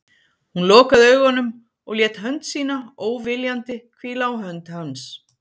Hún lokaði augunum og lét hönd sína, óviljandi, hvíla á hönd hans.